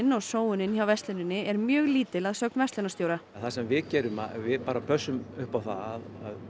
og sóun hjá versluninni er mjög lítil að sögn verslunarstjóra það sem við gerum er að við pössum upp á það að